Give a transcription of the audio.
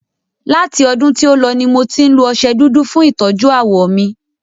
Láti ọdún tí o lọ ní mo tí ń lo ọṣẹ dúdú fún ìtọ́jú ààwọ̀ mí.